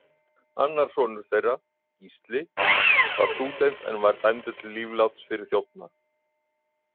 Annar sonur þeirra, Gísli, var stúdent en var dæmdur til lífláts fyrir þjófnað.